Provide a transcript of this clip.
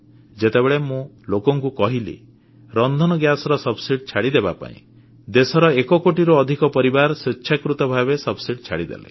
ଯେତେବେଳେ ମୁଁ ଲୋକଙ୍କୁ କହିଲି ରନ୍ଧନ ଗ୍ୟାସର ସବସିଡି ଛାଡ଼ିଦେବା ପାଇଁ ଦେଶର ଏକ କୋଟିରୁ ଅଧିକ ପରିବାର ସ୍ୱେଚ୍ଛାକୃତ ଭାବେ ସବସିଡ ଛାଡ଼ିଦେଲେ